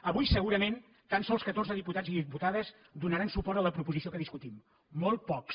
avui segurament tan sols catorze diputats i diputades donaran suport a la proposició que discutim molt pocs